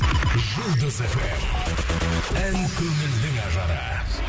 жұлдыз фм ән көңілдің ажары